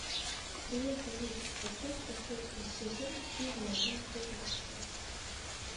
привет алиса поставь последний сезон фильма анатомия страсти